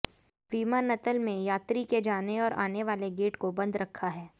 विमानतल में यात्री के जाने और आने वाले गेट को बंद रखा है